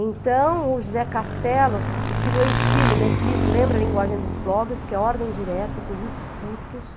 Então, o José Castelo diz que o meu estilo, nesse livro, lembra a linguagem dos blogs, porque é ordem direta, períodos curtos.